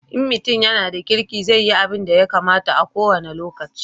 In mutum ya na da kirki zai yi abunda ya kamata a ko wani lokaci